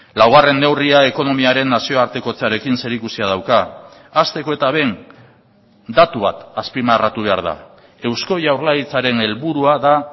laugarren neurria ekonomiaren nazioartekotzearekin zerikusia dauka hasteko eta behin datu bat azpimarratu behar da eusko jaurlaritzaren helburua da